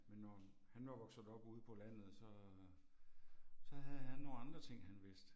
Men når han var vokset op ude på landet så, så havde han nogle andre ting han vidste